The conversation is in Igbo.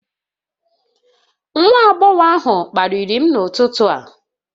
Nwa agbọghọ ahụ kparịrị m n'ụtụtụ a